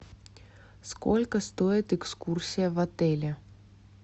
сколько стоит экскурсия в отеле